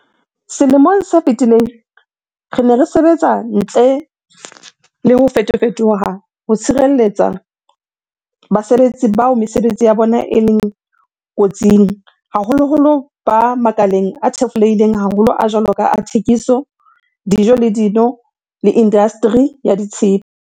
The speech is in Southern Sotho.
Selemong se fetileng, re ne re sebetsa ntle le ho fetofe toha ho tshireletsa basebetsi bao mesebetsi ya bona e leng ko tsing, haholoholo ba makaleng a thefulehileng haholo a jwalo ka a thekiso, dijo le dino le indastri ya tshepe.